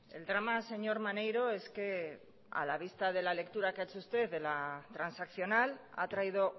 el drama señor maneiro es que a la vista de la lectura que ha hecho usted de la transaccional ha traído